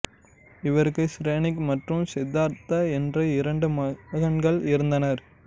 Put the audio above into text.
இவருக்கு சிரேனிக் மற்றும் சித்தார்த் என்ற இரண்டு மகன்கள் இருந்தனர்